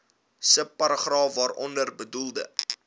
subparagraaf waaronder bedoelde